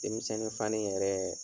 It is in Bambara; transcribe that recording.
Denmisɛni fani yɛrɛ